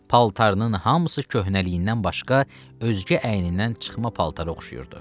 Paltarının hamısı köhnəliyindən başqa özgə əynindən çıxma paltara oxşayırdı.